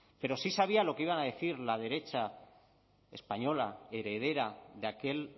pero sí sabía lo que iba a decir la derecha española heredera de aquel